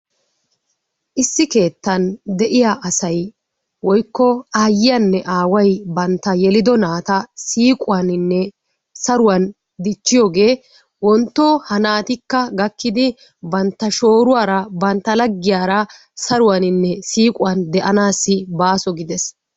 Issi kettaan de'iyaa asay woyko ayiyanne awaay banttaa yellido natta siquwaninne saruwan dichiyogee wontto ha nattikka gakiddi, banttaa shoruwaraa, bantta lagiyaaraa saruwaanninne siquwan de'annassi basso giddees.